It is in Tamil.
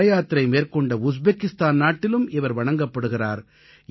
தலயாத்திரை மேற்கொண்ட உஸ்பெக்கிஸ்தான் நாட்டிலும் இவர் வணங்கப்படுகிறார்